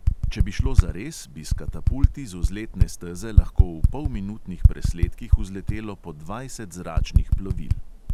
Če bi šlo zares, bi s katapulti z vzletne steze lahko v polminutnih presledkih vzletelo po dvajset zračnih plovil.